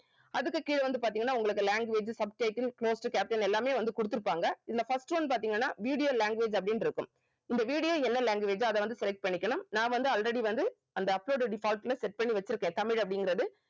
அதுக்கு கீழ வந்து பாத்தீங்கன்னா உங்களுக்கு language subtitle capital எல்லாமே வந்து கொடுத்திருப்பாங்க இதுல first one பாத்தீங்கன்னா video language அப்படின்னு இருக்கும் இந்த video என்ன language ஓ அத வந்து select பண்ணிக்கணும் நான் வந்து already வந்து அந்த uploaded default ல set பண்ணி வெச்சிருக்கேன் தமிழ் அப்படிங்கறது